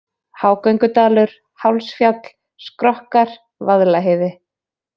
Hágöngudalur, Hálsfjall, Skrokkar, Vaðlaheiði